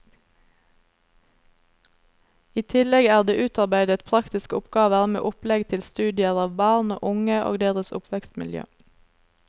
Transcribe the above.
I tillegg er det utarbeidet praktiske oppgaver med opplegg til studier av barn og unge og deres oppvekstmiljø.